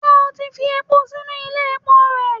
ṣe o tí fi epo sinu Ile epó rẹ?